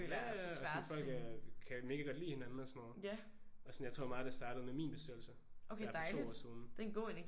Ja ja ja og folk er kan mega godt lide hinanden og sådan noget og sådan jeg tror meget af det startede med min bestyrelse der for 2 år siden